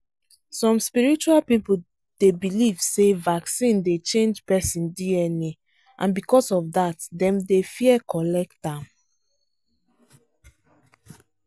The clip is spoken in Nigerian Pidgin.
some spiritual people dey believe say vaccine dey change person dna and because of that dem dey fear collect am.